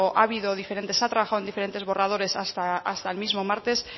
ha habido diferentes se ha trabajado en diferentes borradores hasta el mismo martes